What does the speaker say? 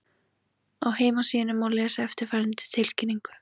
Á heimasíðunni má lesa eftirfarandi tilkynningu